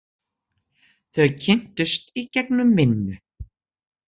Þau kynntust í gegnum vinnu.